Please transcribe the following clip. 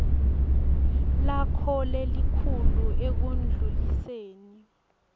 lakho lelikhulu ekundluliseni